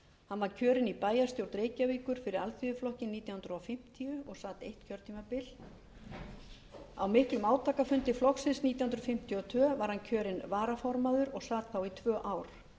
hann var kjörinn í bæjarstjórn reykjavíkur fyrir alþýðuflokkinn nítján hundruð fimmtíu og sat eitt kjörtímabil á miklum átakafundi flokksins nítján hundruð fimmtíu og tvö var hann kjörinn varaformaður og sat þá í tvö ár